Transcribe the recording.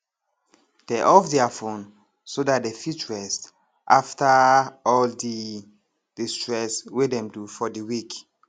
dey off their fone so dat dey fit rest after all the the stress wey dem do for the week